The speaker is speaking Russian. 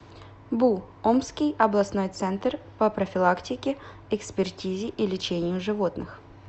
бу омский областной центр по профилактике экспертизе и лечению животных